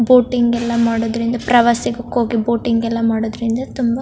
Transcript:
boating ಎಲ್ಲಾ ಮಾಡೋದ್ರಿಂದ ಪ್ರವಾಸಗಕ್ಕೆ ಹೋಗಿ ಬೋಟಿಂಗ್ ಎಲ್ಲಾ ಮಾಡೋದ್ರಿಂದ ತುಂಬಾ --